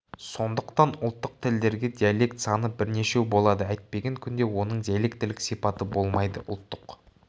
сондықтан ұлттық тілдерде диалект саны бірнешеу болады әйтпеген күнде оның диалектілік сипаты болмайды ұлттық